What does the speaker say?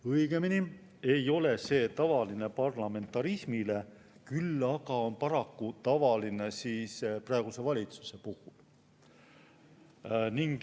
Õigemini ei ole see tavaline parlamentarismi puhul, küll aga on paraku tavaline praeguse valitsuse puhul.